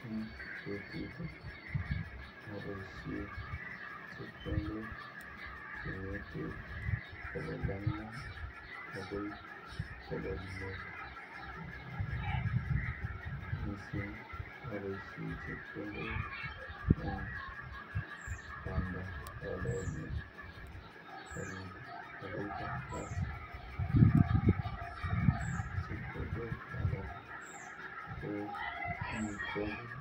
Eng betut ii aboisheen chepkondook che ngetheen bogol angween akoib bogol muut missing aboisheen chepkondook eng Banda alanye kariit ii akoib kapkazi chepkondook alaak ii ko amitwagiik